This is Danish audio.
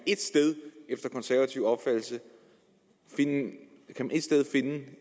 efter konservativ opfattelse finde